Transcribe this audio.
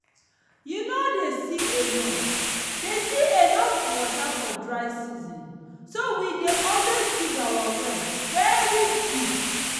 you nor dey see enough dey see enough water for dry season so we dey always dig our well very deep.